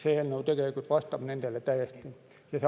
See eelnõu vastab nendele täiesti.